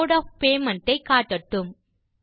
mode of payment ஐ காட்டட்டும்